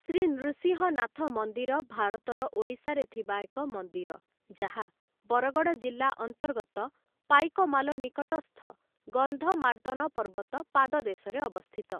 ଶ୍ରୀ ନୃସିଂହନାଥ ମନ୍ଦିର ଭାରତର ଓଡ଼ିଶାରେ ଥିବା ଏକ ମନ୍ଦିର, ଯାହା ବରଗଡ଼ ଜିଲ୍ଲା ଅନ୍ତର୍ଗତ ପାଇକମାଲ ନିକଟସ୍ଥ ଗନ୍ଧମାର୍ଦ୍ଦନ ପର୍ବତ ପାଦ ଦେଶରେ ଅବସ୍ଥିତ ।